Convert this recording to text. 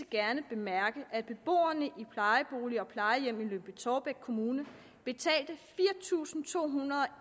gerne bemærke at beboerne i plejeboliger og plejehjem i lyngby taarbæk kommune betalte fire tusind to hundrede og